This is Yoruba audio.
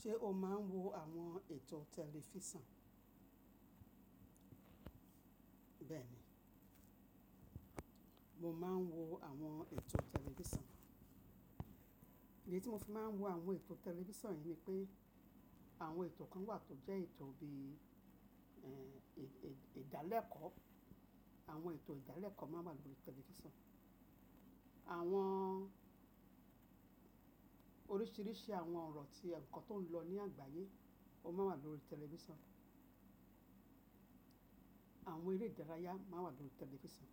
Ṣé o máa ń wo àwọn ètò tẹlifísàn? Bẹ́ẹ̀ni, mo máa ń wo àwọn ètò tẹlifísàn. Èyí tí mo fi máa ń wo àwọn ètò tẹlifísàn ni pé àwọn ètò kan wà tó jẹ́ ètò bí i ìdálẹ̀kọ́. Àwọn ètò ìdálẹ̀kọ́ máa ń wà lórí tẹlifísàn. Àwọn oríṣiríṣi àwọn ọ̀rọ̀ tí ǹkan tó ń lọ ní àgbáyé, ó máa wà lórí tẹlifísàn. Àwọn eré ìdárayá máa wà lórí tẹlifísàn.